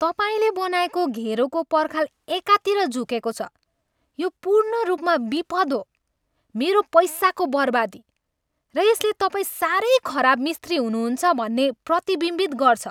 तपाईँले बनाएको घेरोको पर्खाल एकातिर झुकेको छ, यो पूर्णरूपमा बिपद हो, मेरो पैसाको बर्बादी, र यसले तपाईँ साह्रै खराब मिस्त्री हुनुहुन्छ भन्ने प्रतिबिम्बित गर्छ।